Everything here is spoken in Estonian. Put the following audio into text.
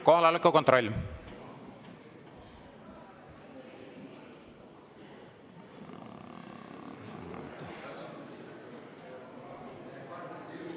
Kohaloleku kontroll!